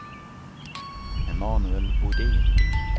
Emanuel Bodin